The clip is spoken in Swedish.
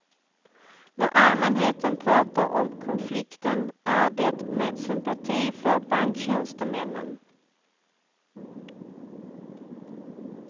När allmänheten pratar om konflikten är det med sympati för banktjänstemännen.